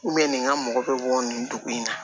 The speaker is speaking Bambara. nin ka mɔgɔ bɛ bɔ nin dugu in na